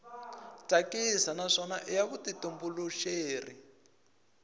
tsakisa naswona i ya vutitumbuluxeri